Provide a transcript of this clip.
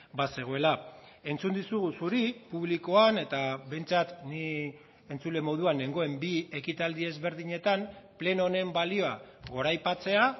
bazegoela entzun dizugu zuri publikoan eta behintzat ni entzule moduan nengoen bi ekitaldi ezberdinetan pleno honen balioa goraipatzea